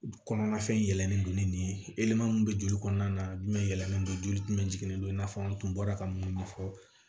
Kɔnɔna fɛn yɛlɛlen don ni nin ye elɛman min bɛ joli kɔnɔna na jumɛn yɛlɛlen don joli jumɛn don i n'a fɔ an tun bɔra ka munnu fɔ